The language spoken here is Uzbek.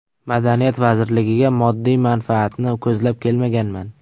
Madaniyat vazirligiga moddiy manfaatni ko‘zlab kelmaganman.